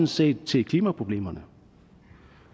set til klimaproblemerne